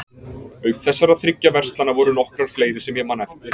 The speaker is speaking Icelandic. Auk þessara þriggja verslana voru nokkrar fleiri sem ég man eftir.